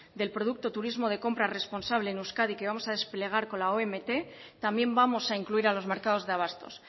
del producto turismo de compra responsable en euskadi que vamos a desplegar con la omt también vamos a incluir a los mercados de abastos